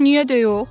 Niyə də yox?